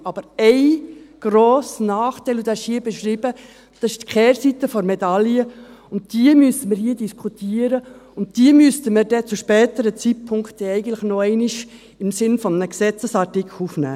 Aber ein grosser Nachteil, und dieser ist hier beschrieben, das die Kehrseite der Medaille, und die müssen wir hier diskutieren, und die müssten wir dann zu einem späteren Zeitpunkt eigentlich noch einmal im Sinne eines Gesetzesartikels aufnehmen.